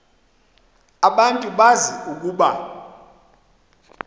abantu bazi ukuba